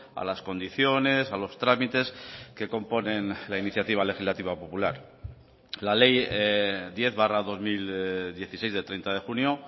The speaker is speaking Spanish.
a las condiciones a los tramites que componen la iniciativa legislativa popular la ley diez barra dos mil dieciséis de treinta de junio